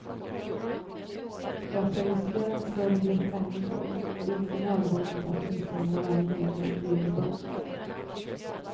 För att terrorisera en större grupp människor är det inte nödvändigt att misshandla varje medlem regelbundet.